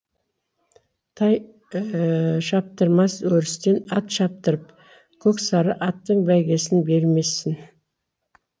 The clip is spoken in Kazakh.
тай шаптырмас өрістен ат шаптырып көксары аттың бәйгесін бермесің